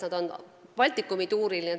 Nad on Baltikumi tuuril.